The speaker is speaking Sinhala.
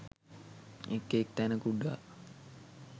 එක් එක් තැන කුඩා